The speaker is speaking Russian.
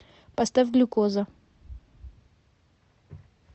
поставь глюкоза